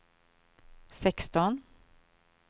sexton